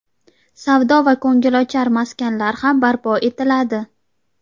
savdo va ko‘ngilochar maskanlar ham barpo etiladi.